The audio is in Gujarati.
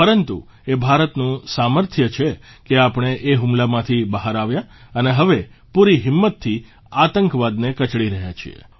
પરંતુ એ ભારતનું સામર્થ્ય છે કે આપણે એ હુમલામાંથી બહાર આવ્યા અને હવે પૂરી હિંમતથી આતંકવાદને કચડી રહ્યા છીએ